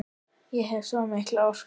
Ég hef svo mikla orku.